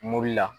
Mobili la